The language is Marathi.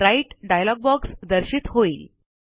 राइट डायलॉग बॉक्स दर्शित होईल